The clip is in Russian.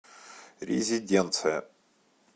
резиденция